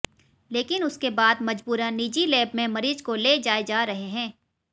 लेकिन उसके बाद मजबूरन निजी लैब में मरीज को ले जाए जा रहे हैं